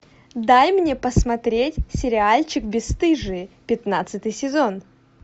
дай мне посмотреть сериальчик бесстыжие пятнадцатый сезон